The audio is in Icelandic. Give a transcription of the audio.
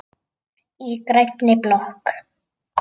Í grænni blokk